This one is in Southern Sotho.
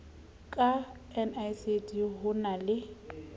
ka nicd ho na le